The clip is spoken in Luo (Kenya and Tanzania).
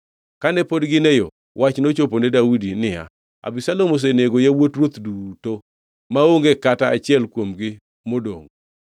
Kane pod gin e yo, wach nochopo ne Daudi niya, “Abisalom osenego yawuot ruoth duto; maonge kata achiel kuomgi modongʼ.”